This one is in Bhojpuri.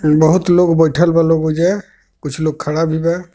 बहुत लोग बइठल बा लोग ओहिजे कुछ लोग खड़ा भी बा.